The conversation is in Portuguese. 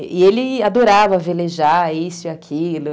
E ele adorava velejar isso e aquilo.